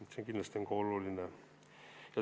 See on kindlasti oluline.